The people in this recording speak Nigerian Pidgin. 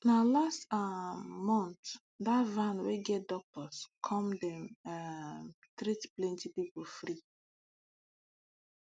na last um month dat van wey get doctors come dem um treat plenty people free